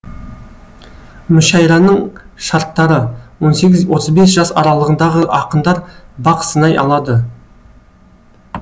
мүшәйраның шарттары он сегіз отыз бес жас аралығындағы ақындар бақ сынай алады